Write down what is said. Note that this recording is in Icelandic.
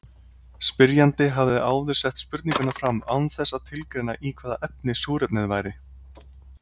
Spyrjandi hafði áður sett spurninguna fram án þess að tilgreina í hvaða efni súrefnið væri.